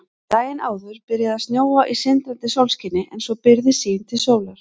Daginn áður byrjaði að snjóa í sindrandi sólskini en svo byrgði sýn til sólar.